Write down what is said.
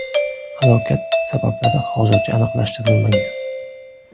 Halokat sabablari hozircha aniqlashtirilmagan.